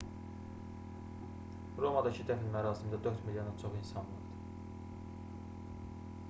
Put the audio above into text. romadakı dəfn mərasimində 4 milyondan çox insan vardı